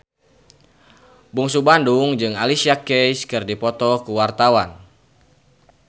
Bungsu Bandung jeung Alicia Keys keur dipoto ku wartawan